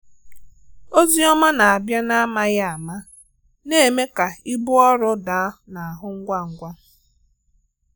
Ózì ọ̀má na-abịa n’ámàghị áma na-eme ka ìbú ọrụ dàá n’áhụ ngwa ngwa.